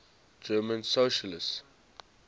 german socialists